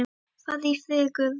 Farðu í friði Guðs.